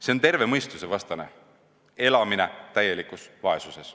See on terve mõistuse vastane, elamine täielikus vaesuses.